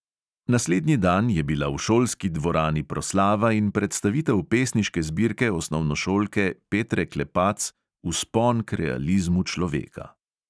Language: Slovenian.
Naslednji dan je bila v šolski dvorani proslava in predstavitev pesniške zbirke osnovnošolke petre klepac vzpon k realizmu človeka.